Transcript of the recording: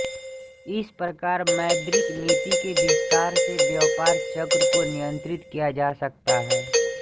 इस प्रकार मौद्रिक नीति के विस्तार से व्यापार चक्र को नियन्त्रित किया जा सकता है